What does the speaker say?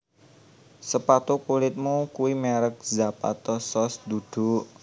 Sepatu kulitmu kui merk Zapato Shoes dudu